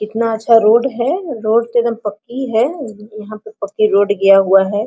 कितना अच्छा रोड हैरोड पे एकदम पकी यहां पे पकी रोड गया हुआ है।